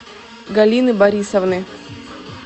галины борисовны